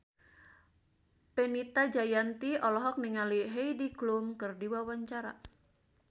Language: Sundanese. Fenita Jayanti olohok ningali Heidi Klum keur diwawancara